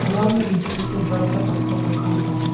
तालाब में बीचों-बीच एक बड़ा-सा पत्थर रखा हुआ है।